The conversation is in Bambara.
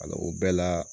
Wala o bɛɛ la